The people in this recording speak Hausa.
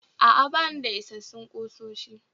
A'a, bani da isassun kusoshi